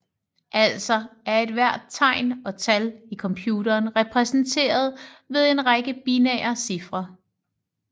Altså er ethvert tegn og tal i computeren repræsenteret ved en række binære cifre